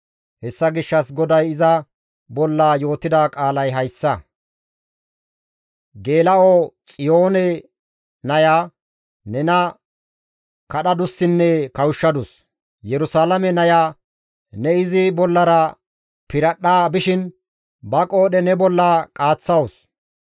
Hessa gishshas GODAY iza bolla yootida qaalay hayssa. «Geela7o Xiyoone naya nena kadhadussinne kawushshadus; Yerusalaame naya ne izi bollara piradhdha bishin ba qoodhe ne bolla qaaththawus.